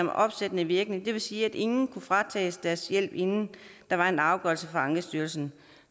opsættende virkning det vil sige at ingen kunne fratages deres hjælp inden der var en afgørelse fra ankestyrelsen